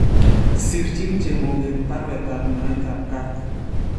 Sirchiin chemooget barwetaab nyoetab kaat ?